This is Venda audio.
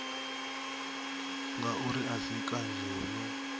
ngauri a si kanzhi hune